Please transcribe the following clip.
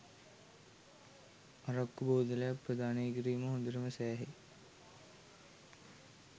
අරක්කු බෝතලයක් ප්‍රදානය කිරීම හොඳටම සෑහේ